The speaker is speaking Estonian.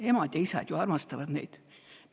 Emad ja isad ju armastavad neid.